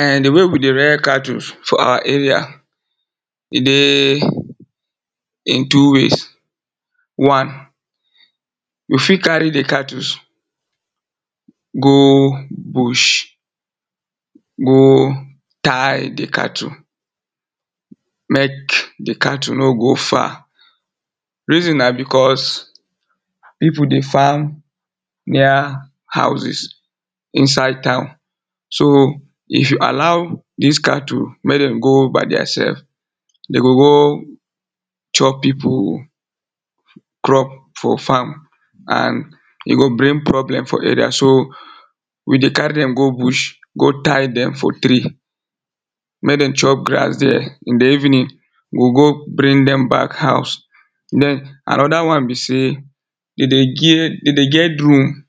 um the way we de rare cattles for our area e dey in two ways, one you fit carry the cattles go bush go tire the cattle make the cattle no go far. reason na because people de farm near houses inside town so, if you allow this cattle make them go by theirself dey go, go chop people crop for farm and e go bring problem for area so, we de carry them go bush go tire them for tree make them chop grass there. in the evening we go go bring dem back house then, another one be say, dey dey ge dey dey get room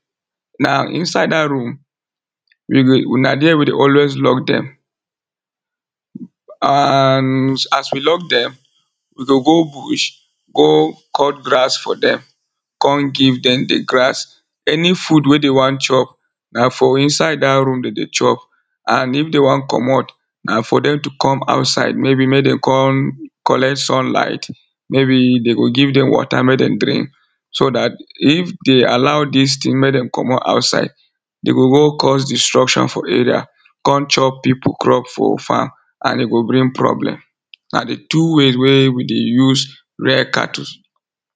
na inside that room, na there we de always lock dem and as we lock dem, we go go bush go cut grass for dem come give them the grass, any food wey de want chop na for inside that room dey de chop and if dey want commot, na for dem to come outside, maybe make dem come collect sunlight, maybe dem go give dem water make dem drink so that, if dey allow this thing make dem commot outside dey go go cause distruction for area, come chop people crop for farm and e go bring problem. na the two ways wey we de use rare cattles